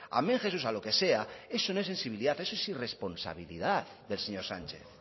amén jesús a lo que sea eso no es sensibilidad eso es irresponsabilidad del señor sánchez